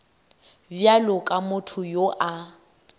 bjalo ka motho yo a